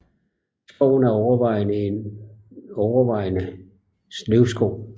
Skoven er overvejende en overvejende løvskov